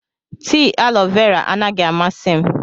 Tii alọ vera anaghị amasị m.